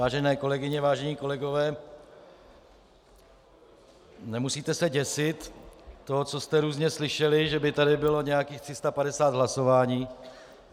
Vážené kolegyně, vážení kolegové, nemusíte se děsit toho, co jste různě slyšeli, že by tady bylo nějakých 350 hlasování.